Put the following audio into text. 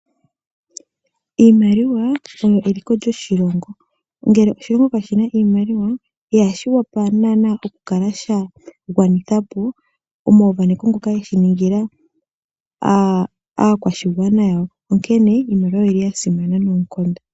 Iimaliwa oyo eliko lyoshilongo. Ngele oshilongo kashi na sha iimaliwa, ihashi wapa naanaa okukala sha gwanitha po omauvaneko ngoka ge shi ningila aakwashigwana yawo, onkene iimaliwa oyi li ya simana noonkondo.